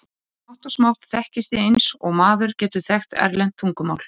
Smátt og smátt þekkist þið eins og maður getur þekkt erlent tungumál.